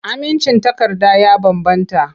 Amincin takarda ya bambanta.